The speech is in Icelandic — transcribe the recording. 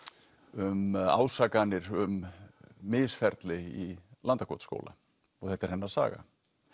um ásakanir um misferli í Landakotsskóla og þetta er hennar saga